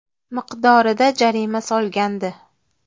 miqdorida jarima solgandi.